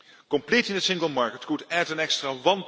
Completing the single market could add an extra